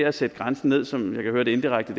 at sætte grænsen ned som jeg kan høre indirekte